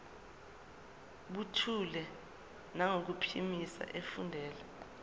buthule nangokuphimisa efundela